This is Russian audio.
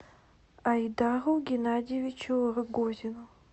айдару геннадьевичу рогозину